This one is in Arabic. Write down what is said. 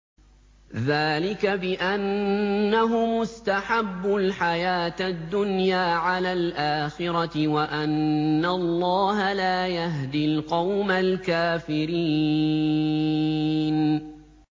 ذَٰلِكَ بِأَنَّهُمُ اسْتَحَبُّوا الْحَيَاةَ الدُّنْيَا عَلَى الْآخِرَةِ وَأَنَّ اللَّهَ لَا يَهْدِي الْقَوْمَ الْكَافِرِينَ